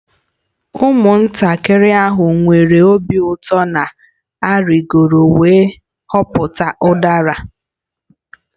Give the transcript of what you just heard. Ụmụntakịrị ahụ nwere obi ụtọ na-arịgoro wee dọpụta udara